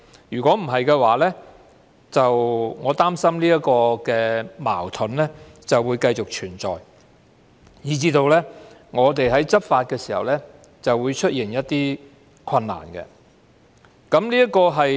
如果不會，我擔心這個矛盾會繼續存在，以致當局在執法時會出現困難。